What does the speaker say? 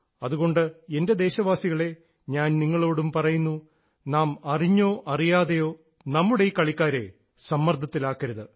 അതുകൊണ്ട് എൻറെ ദേശവാസികളേ ഞാൻ നിങ്ങളോടും പറയുന്നു നാം അറിഞ്ഞോ അറിയാതെയോ നമ്മുടെ ഈ കളിക്കാരെ സമ്മർദ്ദത്തിലാക്കരുത്